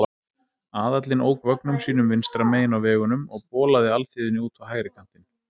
Aðallinn ók vögnum sínum vinstra megin á vegunum og bolaði alþýðunni út á hægri kantinn.